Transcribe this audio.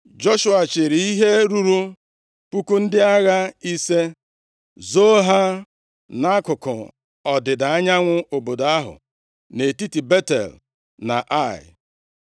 Joshua chịịrị ihe ruru puku ndị agha ise, zoo ha nʼakụkụ ọdịda anyanwụ obodo ahụ, nʼetiti Betel na Ai.